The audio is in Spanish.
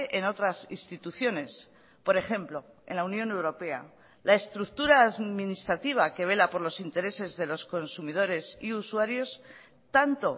en otras instituciones por ejemplo en la unión europea la estructura administrativa que vela por los intereses de los consumidores y usuarios tanto